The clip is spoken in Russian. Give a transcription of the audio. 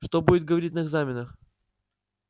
что будет говорить на экзаменах